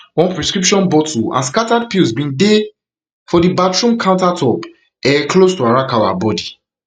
one prescription bottle and scattered pills bin dey for di bathroom countertop um close to arakawa body